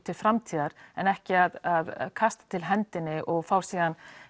til framtíðar en ekki að kasta til hendinni og fá síðan